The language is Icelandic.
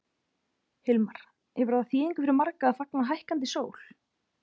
Hilmar, hefur það þýðingu fyrir marga að fagna hækkandi sól?